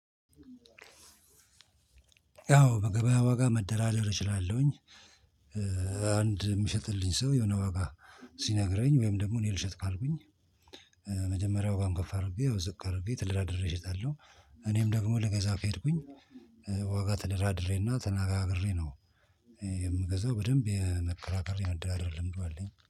ያው በገበያ ዋጋ መደራደር እችላለሁኝ። አንድ የሚሸጥልኝ ሰው የሆነ ዋጋ ሲነግረኝ ወይም ደግሞ እኔ ልሽጥ ካልኩኝ። ከመጀመሪያው ዋጋ ከፍ አድርጌ ወይም ዝቅ አድርጌ ተደራድሬ እሸጣለሁ። እኔም ደግሞ ልገዛ ከሄድኩኝ ዋ ዋጋ ተደራድሬ እና ተናጋግሬ ነው። የምገዛው በደንብ የመከራከር የመደራደር ልምዱ አለኝ